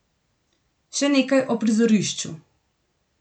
Še nekaj o prizorišču.